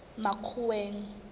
makgoweng